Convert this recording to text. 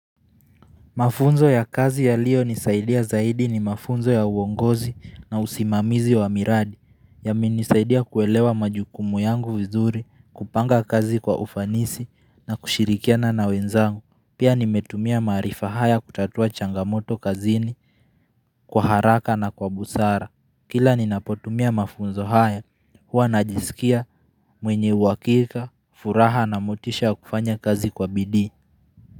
Mafunzo ya kazi yaliyonisaidia zaidi ni mafunzo ya uongozi na usimamizi wa miradi. Yamenisaidia kuelewa majukumu yangu vizuri kupanga kazi kwa ufanisi na kushirikiana na wenzangu. Pia nimetumia maarifa haya kutatua changamoto kazini kwa haraka na kwa busara Kila ninapotumia mafunzo haya huwa, najisikia mwenye uhakika furaha na motisha kufanya kazi kwa bidii.